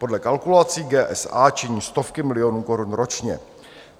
Podle kalkulací GSA činí stovky milionů korun ročně.